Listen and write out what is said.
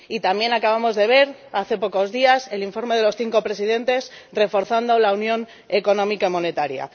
y también acabamos de ver, hace pocos días, el informe de los cinco presidentes reforzando la unión económica y monetaria.